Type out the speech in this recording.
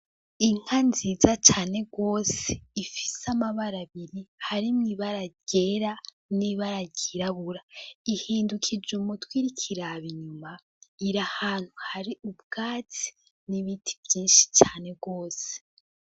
Inka nziza cane gose ifise amabara abiri, harimwo ibara ryera nibara ryirabura, ihindukije umutwe iriko iraba inyuma irahantu hari ubwatsi n'ibiti vyinshi cane gose.